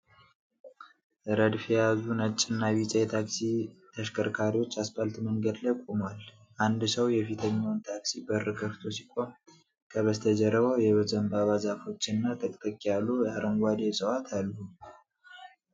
ረድፍ የያዙ ነጭና ቢጫ የታክሲ ተሽከርካሪዎች አስፓልት መንገድ ላይ ቆመዋል። አንድ ሰው የፊተኛውን ታክሲ በር ከፍቶ ሲቆም፣ ከበስተጀርባው የዘንባባ ዛፎችና ጥቅጥቅ ያሉ አረንጓዴ ዕፅዋት አሉ።